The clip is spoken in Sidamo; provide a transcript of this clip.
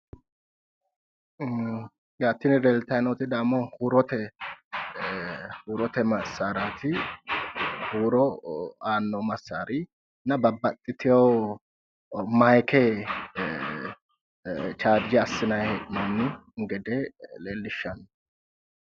Tini leeltayi nooti damo huurote massaaraati huuro aano massaarinna babbaxxitewo maayiikke chaarje assinayi hee'nonni gede leellishshanno.